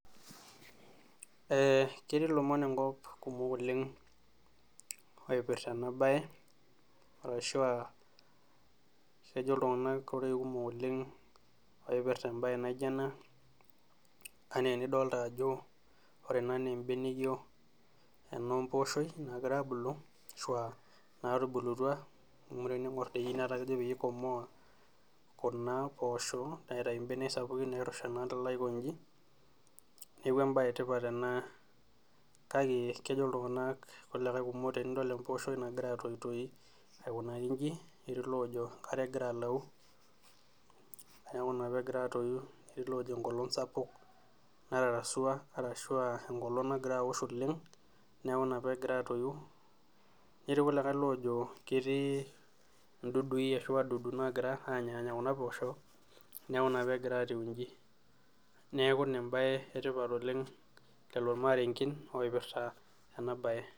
Ketii lomon enkop kumok oleng oipirta ena bae arashu kejo ltunganak kumok oleng oipirta embae naijo ena enidolita ajo ore ena naa embeneyio empooshoi nagira abulu ashua naatubulutua amu teningor doi netaa kejo peyie eikomaa Kuna poosho aitayu mbenek sapukin nairusha nikidolita aikonji ,neeku embae etipat ena kake kejo ltunganak kulikae tenidol empooshoi nagira atoitoyu aikunakino inji netii loojo enkare egira alau neeku ina pee egira atoyu netii loojo enkolong sapuk natarasua orashua enkolong nagira aosh oleng neeku ina pee egira atoyu, netii kulikae oojo ketii ndudui ashu wadudu nagira anyaanya Kuna poosho neeku ina pee egira atiu enji neeku ina embae etipat oleng toormarenken oipirta ena bae .